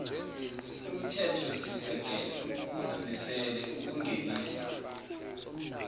umthethosisekelo uzimisele ukungenisa